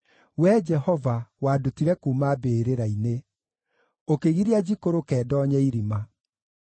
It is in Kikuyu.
Wee Jehova, wandutire kuuma mbĩrĩra-inĩ; ũkĩgiria njikũrũke, ndoonye irima.